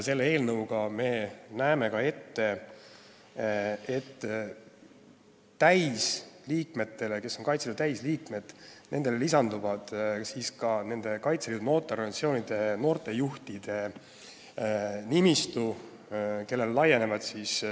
Selle eelnõuga me näeme ette, et Kaitseliidu täisliikmete kõrval laienevad teatud sotsiaalsed garantiid ka Kaitseliidu noortejuhtidele.